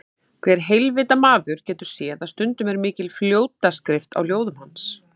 Hver heilvita maður getur séð að stundum er mikil fljótaskrift á ljóðum hans.